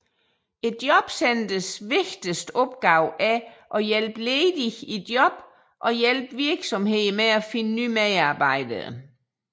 Jobcentrenes vigtigste opgave er at hjælpe ledige i job og hjælpe virksomheder med at finde nye medarbejdere